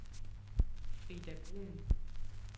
Frida Bruun